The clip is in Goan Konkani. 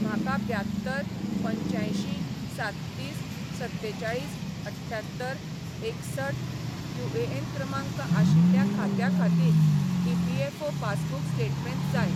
म्हाका ब्यात्तर पंच्यांयशीं साततीस सत्तेचाळीस अठ्ठ्यात्तर एकसठ यूएन क्रमांक आशिल्ल्या खात्या खातीर ईपीएफओ पासबुक स्टेटमेंट जाय